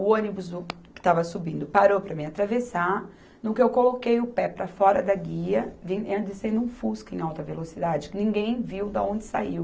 O ônibus que estava subindo parou para eu atravessar, no que eu coloquei o pé para fora da guia, vinha descendo um fusca em alta velocidade, que ninguém viu de onde saiu.